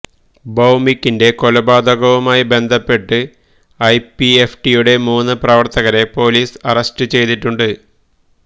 ഭൌമികിന്റെ കൊലപാതകവുമായി ബന്ധപ്പെട്ട് ഐപിഎഫ്ടിയുടെ മുന്ന് പ്രവര്ത്തകരെ പോലീസ് അറസ്റ്റ് ചെയ്തിട്ടുണ്ട്